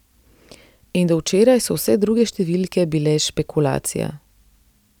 In do včeraj so vse druge številke bile špekulacija.